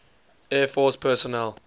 air force personnel